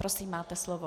Prosím, máte slov.